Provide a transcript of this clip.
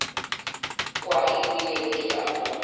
kwa ebile ke a bona